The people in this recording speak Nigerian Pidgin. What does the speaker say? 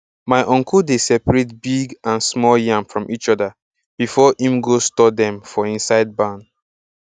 my uncle dey separate big and small yam from each other before him go store dem inside barn